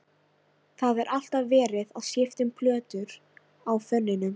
Það er alltaf verið að skipta um plötur á fóninum.